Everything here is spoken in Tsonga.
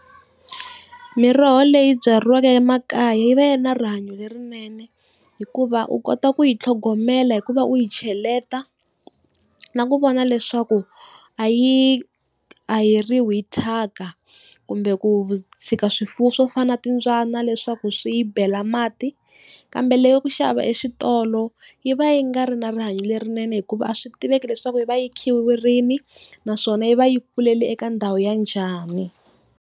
Miroho leyi byariwaka emakaya yi va yi na rihanyo lerinene, hikuva u kota ku yi tlhogomela hikuva u yi cheleta na ku vona leswaku a yi a haheriwi hi thyaka, kumbe ku tshika swifuwo swo fana na timbyana leswaku swi yi bela mati. Kambe leya ku xava exitolo yi va yi nga ri na rihanyo lerinene hikuva a swi tiveki leswaku yi va yi khiwe rini, naswona yi va yi kulele eka ndhawu ya njhani.